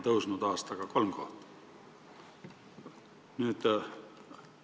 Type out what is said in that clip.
Oleme aastaga tõusnud kolm kohta.